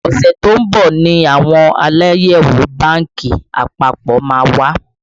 Ọṣẹ tó ń bọ̀ ni àwọn Aláyẹ̀wò bánkì àpapọ̀ má wá